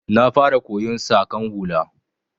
Na fara koyon Saƙan hula